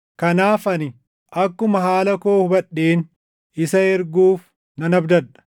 Kanaaf ani akkuma haala koo hubadheen isa erguuf nan abdadha.